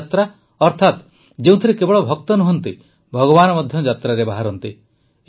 ଦେବଯାତ୍ରା ଅର୍ଥାତ୍ ଯେଉଁଥିରେ କେବଳ ଭକ୍ତ ନୁହଁନ୍ତି ଭଗବାନ ମଧ୍ୟ ଯାତ୍ରାରେ ବାହାରନ୍ତି